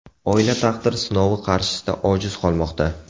Oila taqdir sinovi qarshisida ojiz qolmoqda.